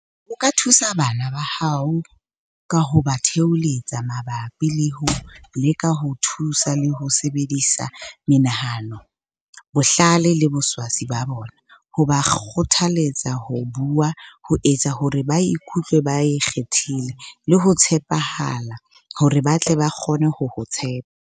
O ka thusa bana ba hao ka ho ba theholetsa mabapi le ho leka ho thusa le ho sebedisa menahano, bohlale le boswasi ba bona, ho ba kgothaletsa ho bua, ho etsa hore ba ikutlwe ba ikgethile, le ho tshepahala, hore ba tle ba kgone ho o tshepa.